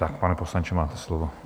Tak, pane poslanče, máte slovo.